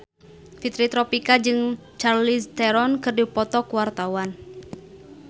Fitri Tropika jeung Charlize Theron keur dipoto ku wartawan